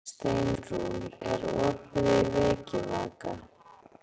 Steinrún, er opið í Vikivaka?